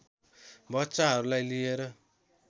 बच्चाहरूलाई लिएर